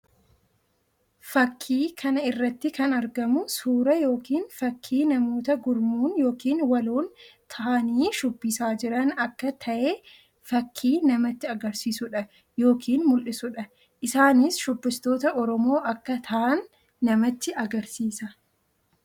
Fakkii kana irratti kan argamu suuraa yookiin fakkii namoota gurmuun yookiin waloon tahanii shubbisaa jiran akka tahee fakkii namatti agarsiisuu dha yookiin mullisuu dha. Isaanis shubbistoota Oromoo akka tahan namatti agarsiisa.